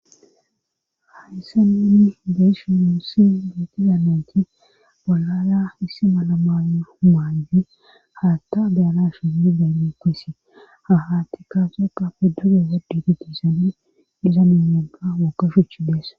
hadissa ninni deeshinuussi detizamenti balara issi malamana humaandi haatta beyanashi zmi beni qoisi ha hatti kaafe qa feduleza digigisan dizamenyoga wokkashuchi deessa